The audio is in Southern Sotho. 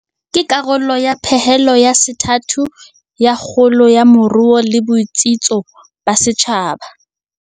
Ke karolo ya pehelo ya sethathu ya kgolo ya moruo le botsitso ba setjhaba.